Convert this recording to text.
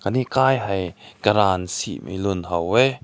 aani khai hai karan cei mai lun ha weh.